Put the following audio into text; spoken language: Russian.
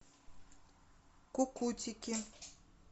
кукутики